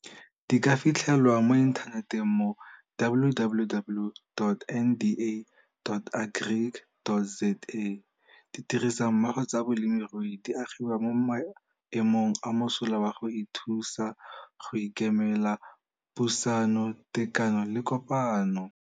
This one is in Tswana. E ka fitlhelwa mo inthaneteng mo www.nda.agric.za. Ditirisanommogo tsa bolemirui di agiwa mo maemong a mosola wa go ithusa, go ikemela, pusano, tekano le kopano.